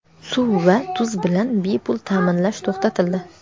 suv va tuz bilan bepul ta’minlash to‘xtatildi.